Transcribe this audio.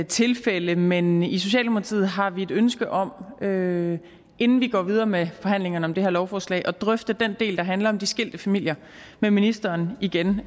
tilfælde men i socialdemokratiet har vi et ønske om inden inden vi går videre med forhandlingerne om det her lovforslag at drøfte den del der handler om de skilte familier med ministeren igen